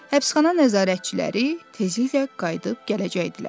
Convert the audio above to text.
Həbsxana nəzarətçiləri tezliklə qayıdıb gələcəkdilər.